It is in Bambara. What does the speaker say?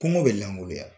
Kungo bɛ langoloya